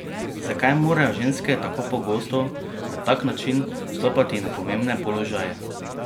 Zakaj morajo ženske tako pogosto na tak način vstopati na pomembne položaje?